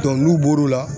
n'u bɔr'o la